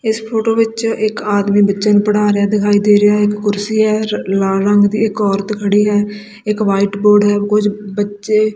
ਇੱਸ ਫ਼ੋਟੋ ਵਿੱਚ ਇੱਕ ਆਦਮੀ ਬੱਚੇ ਨੂੰ ਪੜ੍ਹਾ ਰਿਹਾ ਹੈ ਦਿਖਾਈ ਦੇ ਰਿਹਾ ਹੈ ਇੱਕ ਕੁਰਸੀ ਹੈ ਲਾਲ ਰੰਗ ਦੀ ਇੱਕ ਔਰਤ ਖੜੀ ਹੈ ਇੱਕ ਵ੍ਹਾਈਟ ਬੋਰਡ ਹੈ ਕੁਝ ਬੱਚੇ--